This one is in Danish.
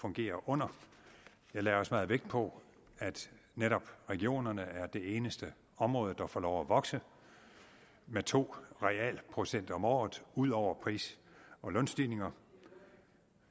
fungerer under jeg lagde også meget vægt på at netop regionerne er det eneste område der får lov at vokse med to realprocent om året ud over pris og lønstigninger